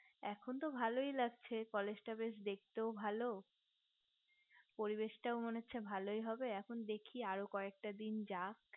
এখন তো ভালোই লাগছে college তাও বেশ দেখতেও ভালো পরিবেশ টাও মনে হচ্ছে ভালোই হবে এখন দেখি আর কয়েকটা দিন যাক